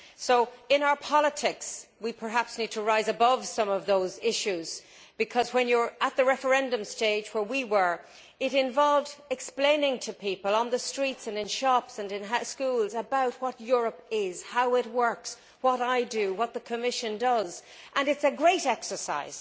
So in our politics, we need perhaps to rise above some of those issues because when you are at the referendum stage, as we were, it involves explaining to people on the streets and in shops and in schools about what Europe is, how it works, what I do, what the Commission does, and that is a great exercise.